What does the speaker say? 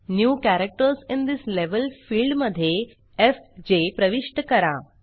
new characters in this level field मध्ये FJ प्रविष्ट करा